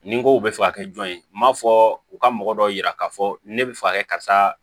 Nin ko bɛ fɛ ka kɛ jɔn ye n m'a fɔ u ka mɔgɔ dɔ yira ka fɔ ne bɛ fɛ ka kɛ karisa